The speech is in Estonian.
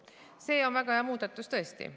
See on väga hea muudatus tõesti.